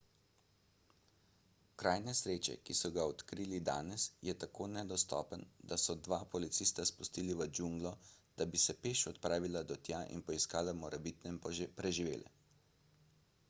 kraj nesreče ki so ga odkrili danes je tako nedostopen da so dva policista spustili v džunglo da bi se peš odpravila do tja in poiskala morebitne preživele